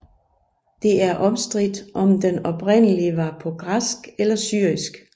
Det er omstridt om den oprindelig var på græsk eller syrisk